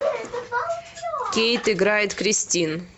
кейт играет кристин